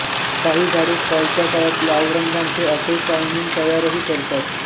कांही झाडे फॉलच्या काळात लाल रंगाचे एंथोसायनिन तयारही करतात